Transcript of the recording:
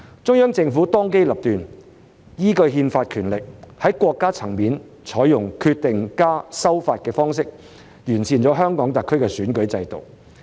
中央政府當機立斷，依據憲法權力，在國家層面採用"決定+修法"的方式完善了香港特區的選舉制度。